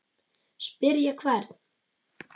Spyrja hvern?